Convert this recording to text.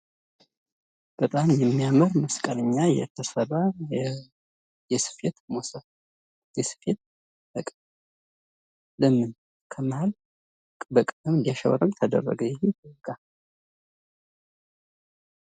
በጣም የማያምር መስቀል እና የተሰራ መሶብ ለምን ከመሀል በቀለም እንዳሸበርቅ ተደረገ ይህ ዕቃ?